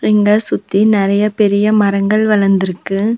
இங்க சுத்தி நெறைய பெரிய மரங்கள் வளந்துருக்கு.